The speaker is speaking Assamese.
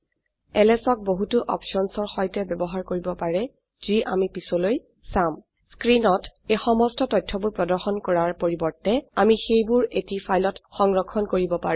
এলএছ ক বহুতো অপছনচৰ সৈতে বয়ৱহাৰ কৰিব পাৰে যি আমি পিছলৈ চাম স্ক্ৰিনত এই সমস্ত তথ্যবোৰ প্ৰদৰ্শন কৰাৰ পৰিবৰ্তে আমি সেইবোৰ এটি ফাইলত সংৰক্ষণ কৰিব পাৰো